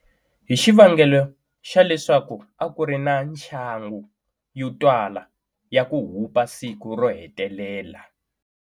Hi xivangelo xa leswaku aku ri na nxangu yo twala ya ku hupa siku rohetelela.